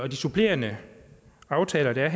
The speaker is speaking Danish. de supplerende aftaler der